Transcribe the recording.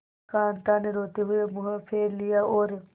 कांता ने रोते हुए मुंह फेर लिया और